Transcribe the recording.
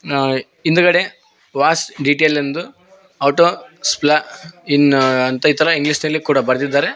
ಆ ಹಿಂದ್ಗಡೆ wash detail ಎಂದು ಆಟೋ ಸ್ಪ್ಲಾ ಇನ್ ಅಂತ ಇತರ ಇಂಗ್ಲಿಷ್ ನಲ್ಲಿ ಕೂಡ ಬರ್ದಿದ್ದಾರೆ.